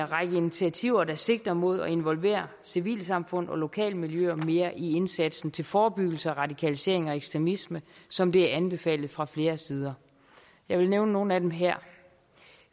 række initiativer der sigter mod at involvere civilsamfund og lokalmiljøer mere i indsatsen til forebyggelse af radikalisering og ekstremisme som det er anbefalet fra flere sider jeg vil nævne nogle af dem her